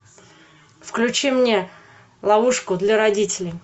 включи мне ловушку для родителей